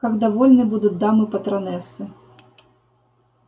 как довольны будут дамы-патронессы